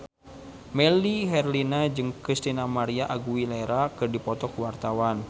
Melly Herlina jeung Christina María Aguilera keur dipoto ku wartawan